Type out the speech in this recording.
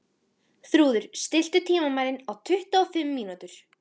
Þrúður, stilltu tímamælinn á tuttugu og fimm mínútur.